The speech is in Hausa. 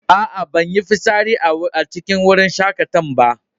A'a, ban yi fisari a cikin wajen shakatawa'n ba.